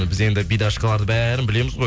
біз енді бидашкаларды бәрін білеміз ғой